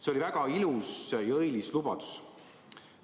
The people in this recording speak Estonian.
See oli väga ilus ja õilis lubadus.